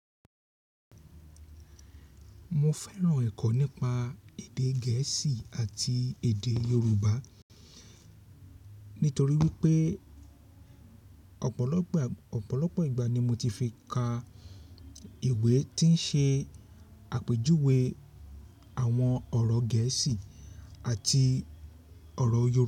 Mo fẹ́ran ẹ̀kọ́ nípa èdè gẹ̀ẹ́sì àti èdè Yorùbá nítorí wípé ọ̀pọ̀lọpọ̀, ọ̀pọ̀lọpọ̀ ìgbà ni mo ti fi ka ìwé tí ń ṣe àpèjúwe àwọn ọ̀rọ̀ gẹ̀ẹ́sì àti ọ̀rọ̀ oy.